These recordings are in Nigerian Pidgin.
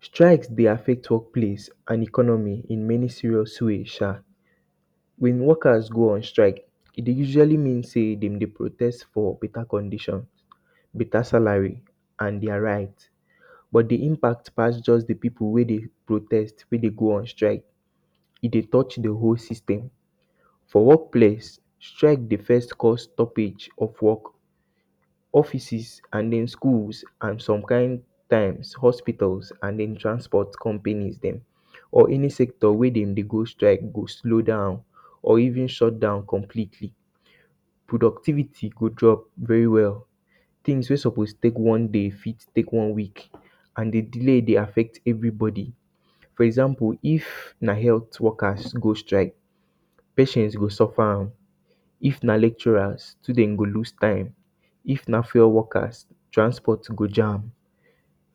Strike dey affect workplace and economy in many serious way sha. When workers go on strike e dey usually mean sey dem dey protest for beta condition, beta salary and der right but de impact pass de pipu wey dey protest wey dey go on strike, e dey touch de whole system. For work place strike go first cause stoppage of work, offices and then schools and some kind um hospitals and then transport company dem or any sector wey dem dey go strike go slow down or even shut down completely. Productivity go drop very well, things wey suppose take one day fit take one week and de delay dey affect everybody for example if na health workers go strike patient go suffer am, if na lecturer student go loose time, if na fare workers transport go jam.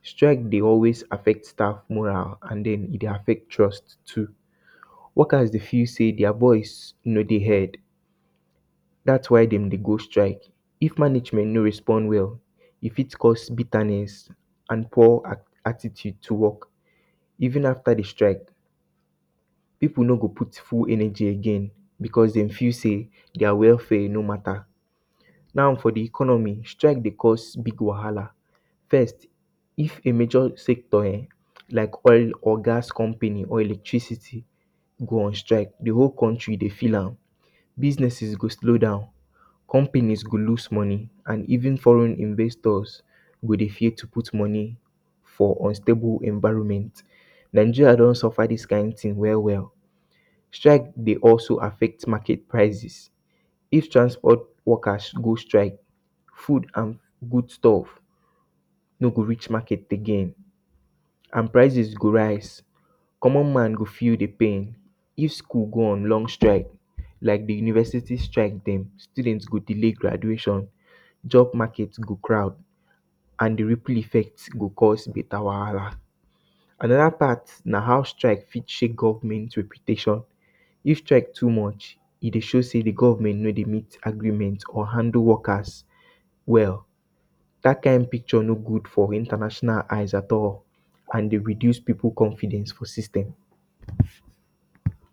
Strike dey always affect staff more than um and e dey affect jobs too. Workers dey feel sey der voice no dey heard dats why dem dey go strike, if management no respond well, e fit cause bitterness and poor attitude to work. Even after de strike pipu no go put full energy again because dem feel sey der welfare e no matter. Now for de economy strike dey cause big wahala first if a major sector um like oil or gas company or electricity go on stike de whole country dey feel am, businesses go slow down, company go lose money, and even foreign investors go dey? to put money for unstable environment. Nigeria don suffer dis kin thing well well. Strike dey also affect market prices, if transport workers go strike food and foodstuff no go reach market again and prices go raise, common man go feel de pain, if school go on long strike like de universities strike dem student go delay graduation and job market go crowd and de ripple effect go cause beta wahala. Anoda part na how strike fit change government reputation if strike too much e dey show sey de government no dey meet agreement or handle workers well dat kind picture no good for international eyes at all and e dey reduce pipu confidence for system